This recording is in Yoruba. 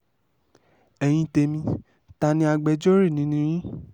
ẹ̀yin tẹ̀mí ta ni agbẹjọ́rò nínú yín